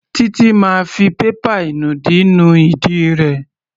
Títí máa fi pépà ìnùdí nu ìdí rẹ̀.